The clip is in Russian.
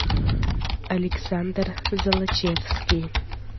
александр золочевский